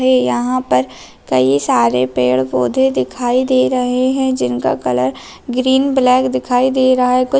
ये यहाँ पर कई सारे पेड-पौधे दिखाई दे रहे हैं जिनका कलर ग्रीन ब्लैक दिखाई दे रहा है। कुछ --